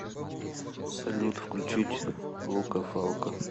салют включить лука фалко